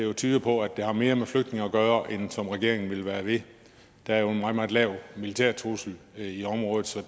jo tyder på at det har mere med flygtninge at gøre end regeringen vil være ved der er en meget meget lav militær trussel i området så